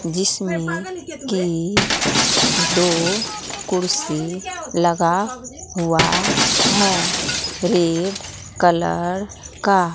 जिसमें कि दो कुर्सी लगा हुआ है रेड कलर का।